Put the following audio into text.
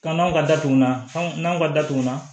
Ka n'aw ka datugunnaw n'aw ka datugu na